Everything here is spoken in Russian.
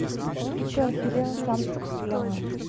ты что охерел сам ты писклявая